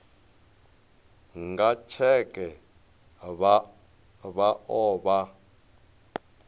nga tsheke vha o vha